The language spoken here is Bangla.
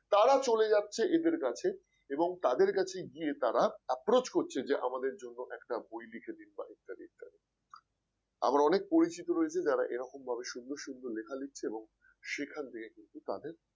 তারা চলে যাচ্ছে এদের কাছে এবং তাদের কাছে গিয়ে তারা approach করছে যে আমাদের জন্য একটা বই লিখে দিন বা ইত্যাদি ইত্যাদি আমার অনেক পরিচিত রয়েছে যারা এরকম ভাবে সুন্দর সুন্দর লেখা লিখছে এবং সেখান থেকে কিন্তু তাদের